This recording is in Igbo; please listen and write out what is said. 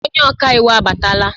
Onye ọka iwu abatala